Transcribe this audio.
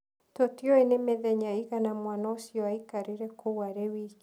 Tũtiũĩ nĩ mĩthenya ĩigana mwana ũcio aikarire kũu arĩ wiki.